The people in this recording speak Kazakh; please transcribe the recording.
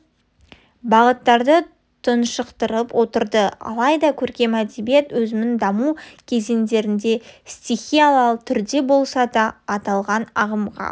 бағыттарды тұншықтырып отырды алайда көркем әдебиет өзінің даму кезеңдерінде стихиялы түрде болса да аталған ағымға